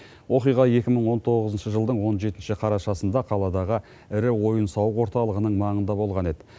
оқиға екі мың он тоғызыншы жылдың он жетінші қарашасында қаладағы ірі ойын сауық орталығының маңында болған еді